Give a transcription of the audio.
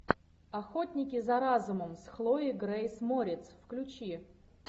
охотники за разумом с хлоей грейс морец включи